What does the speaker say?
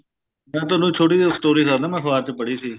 ਮੈਂ ਤੁਹਾਨੂੰ ਛੋਟੀ ਜੀ story ਦੱਸਦਾ ਮੈਂ ਅਖਬਾਰ ਚ ਪੜ੍ਹੀ ਸੀ